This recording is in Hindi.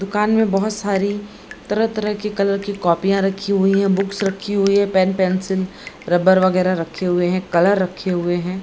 दुकान में बोहोत सारी तरह तरह की कलर की कॉपिया रखी हुई है। बुक्स रखी हुई है। पेन पेंसिल रबर वगेरा रखे हुए है। कलर रखे हुए हैं।